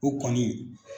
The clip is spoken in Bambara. O kɔni